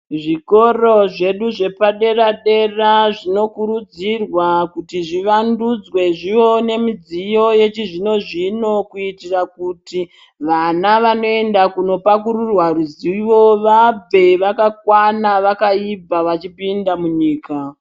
Zvikoro zvedu zvepadera-dera zvinokurudzirwa kuti zvivandudzwe zvione midziyo yechizvino-zvino. Kuitira kuti vana vanoenda kunopakurirwa ruzivo vabve vakakwana vakaibva vachipinda munyika.